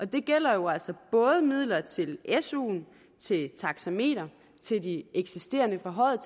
det gælder jo altså både midler til suen til taxameter til de eksisterende forhøjede